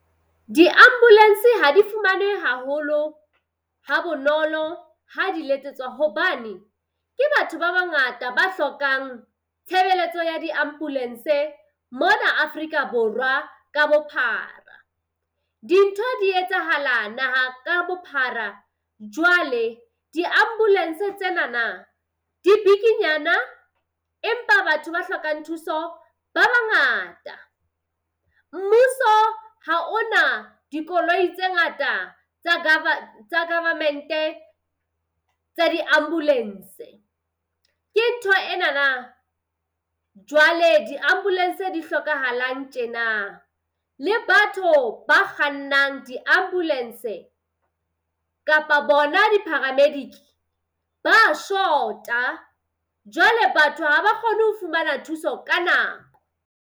Di-ambulance ha di fumanehe haholo ha bonolo ha di letsetswa. Hobane ke batho ba bangata ba hlokang tshebeletso ya di-ambulance-e mona Afrika Borwa ka bophara. Dintho di etsahala naha ka bophara. Jwale di-ambulance tsenana di bikinyana empa batho ba hlokang thuso ba bangata. Mmuso ha o na dikoloi tse ngata tsa government-e tsa di ambulance-e. Ke ntho enana jwale di-ambulance-e di hlokahalang tjena. Le batho ba kgannang di-ambulance-e kapa bona di-paramedic ba shota. Jwale batho ha ba kgone ho fumana thuso ka nako.